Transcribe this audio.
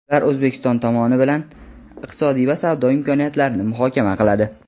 Ular O‘zbekiston tomoni bilan iqtisodiy va savdo imkoniyatlarini muhokama qiladi.